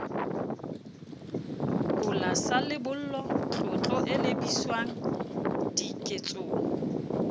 kola sa lebollo tlotlo elebiswangdiketsong